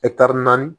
naani